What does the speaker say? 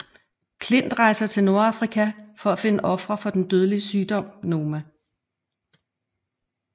Klint rejser til Nordafrika for at finde ofre for den dødelig sygdom Noma